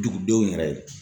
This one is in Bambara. Dugudenw yɛrɛ ye.